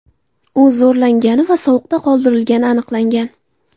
U zo‘rlangani va sovuqda qoldirilgani aniqlangan.